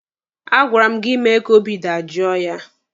A gwara m gị mee ka obi dajoo ya!